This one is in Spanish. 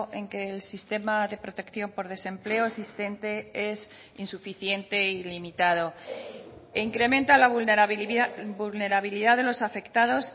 en que el sistema de protección por desempleo existente es insuficiente y limitado e incrementa la vulnerabilidad de los afectados